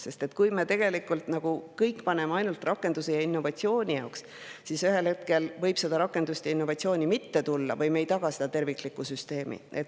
Sest kui me paneme kõik ainult rakenduse ja innovatsiooni jaoks, siis ühel hetkel võib rakendust ja innovatsiooni mitte tulla või me ei taga terviklikku süsteemi.